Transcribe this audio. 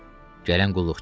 Gələn qulluqçu idi.